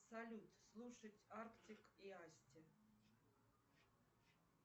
салют слушать артик и асти